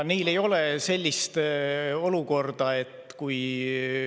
Neil ei ole sellist olukorda kui meil.